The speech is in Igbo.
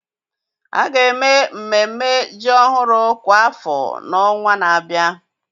a ga-eme mmemme ji ọhụrụ kwa afọ n'ọnwa na-abịa.